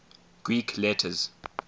greek letters